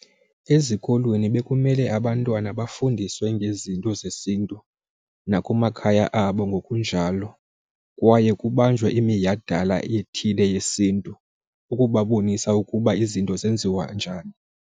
Ezikolweni bekumele abantwana bafundiswe ngezinto zesintu nakumakhaya abo ngokunjalo. Kwaye kubanjwe iminyhadala ethile yesiNtu ukubabonisa ukuba izinto zenziwa njani.